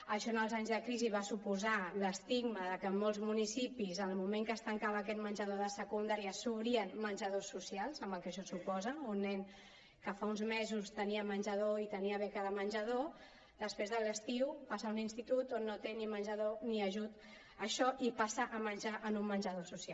això en els anys de crisi va suposar l’estigma de que a molts municipis en el moment que es tancava aquest menjador de secundària s’obrien menjadors socials amb el que això suposa un nen que fa uns mesos tenia menjador i tenia beca de menjador després de l’estiu passa a un institut on no té ni menjador ni ajut això i passa a menjar en un menjador social